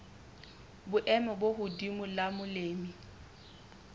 boemo bo hodimo la molemi